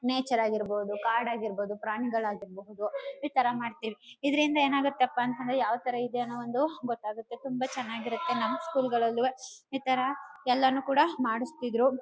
Nature ಆಗಿರ್ಬಹುದು ಕಾಡ್ ಆಗಿರ್ಬಹುದು. ಪ್ರಾಣಿಗಳ ಆಗಿರ್ಬಹುದು ಇತರ ಮಾಡ್ತೀವಿ. ಇದ್ರಿಂದ ಏನಾಗುತ್ತಪ್ಪ ಅಂತ ಅಂದ್ರೆ ಯಾವ ತರ ಇದೆ ಅನು ಒಂದು ಗೊತ್ತಾಗುತ್ತೆ ತುಂಬ ಚೆನ್ನಾಗಿರುತ್ತೆ ನಮ್ಮ ಸ್ಕೂಲ್ ಗಲ್ಲಾಳುವೆ ಇತರ ಎಲ್ಲಾನು ಕೂಡ ಮಡಸ್ತಾಯಿದ್ರು.